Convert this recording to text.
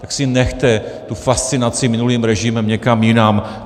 Tak si nechte tu fascinaci minulým režimem někam jinam!